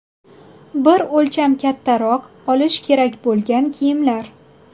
Bir o‘lcham kattaroq olish kerak bo‘lgan kiyimlar.